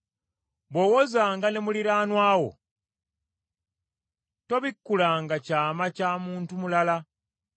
Bw’owozanga ne muliraanwa wo, tobikkulanga kyama kya muntu mulala,